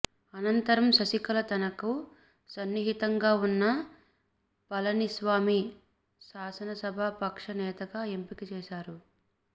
అనంతరం శశికళ తనకు సన్నిహితంగా ఉన్న పళనిస్వామిని శాసన సభ పక్ష నేతగా ఎంపిక చేసారు